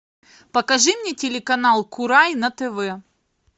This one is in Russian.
покажи мне телеканал курай на тв